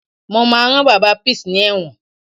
Mo máa rán Bàbá Peace ní ẹ̀wọ̀n